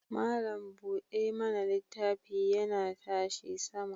Malam kuɗa mana littafi yana tashi sama.